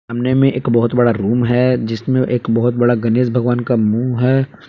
अमने में एक बहोत बड़ा रूम है जिसमें एक बहोत बड़ा गणेश भगवान का मुंह है।